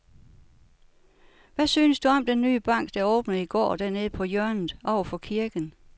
Hvad synes du om den nye bank, der åbnede i går dernede på hjørnet over for kirken?